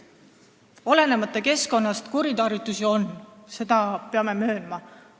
Olenemata keskkonnast kuritarvitusi on, seda me peame möönma.